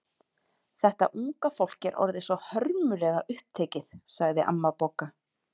Þetta unga fólk er orðið svo hörmulega upptekið sagði amma Bogga.